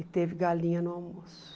E teve galinha no almoço.